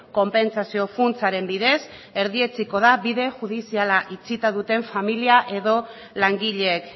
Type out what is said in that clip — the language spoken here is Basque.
konpentsazio funtsaren bidez erdietsiko da bide judiziala itxita duten familia edo langileek